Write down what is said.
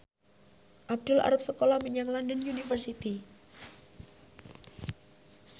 Abdul arep sekolah menyang London University